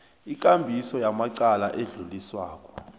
ikambiso yamacala adluliswako